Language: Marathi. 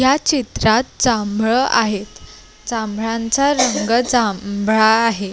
या चित्रात जांभळ आहेत जांभळाच रंग जांभळा आहे.